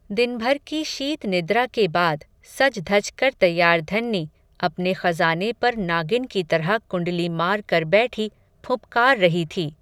दिन भर की शीतनिद्रा के बाद, सज धजकर तैयार धन्नी, अपने ख़ज़ाने पर नागिन की तरह कुंडली मारकर बैठी, फुँफकार रही थी